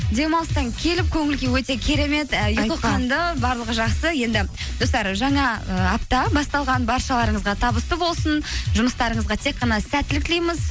демалыстан келіп көңіл күй өте керемет і ұйқы қанды барлығы жақсы енді достар жаңа ы апта басталған баршаларыңызға табысты болсын жұмыстарыңызға тек қана сәттілік тілейміз